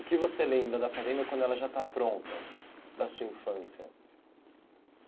O que você lembra da fazenda quando ela já está pronta, da sua infância?